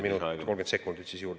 Ja liitke see 30 sekundit ka juurde.